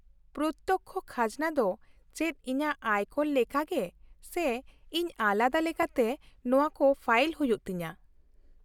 -ᱯᱨᱚᱛᱛᱚᱠᱠᱷᱚ ᱠᱷᱟᱡᱱᱟ ᱫᱚ ᱪᱮᱫ ᱤᱧᱟᱹᱜ ᱟᱭᱠᱚᱨ ᱞᱮᱠᱟᱜᱮ, ᱥᱮ ᱤᱧ ᱟᱞᱟᱫᱟ ᱞᱮᱠᱟᱛᱮ ᱱᱚᱶᱟᱠᱚ ᱯᱷᱟᱭᱤᱞ ᱦᱩᱭᱩᱜ ᱛᱤᱧᱟᱹ ?